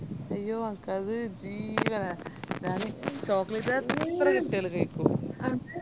അയ്യോ എനക്കത് ജീവനാ ഞാനീ chocolate എത്ര കിട്ടിയാലും കൈകും